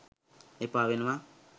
එපා වෙනවා